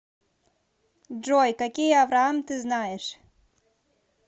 джой какие авраам ты знаешь